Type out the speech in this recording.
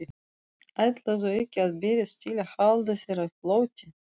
Ætlarðu ekki að berjast til að halda þér á floti?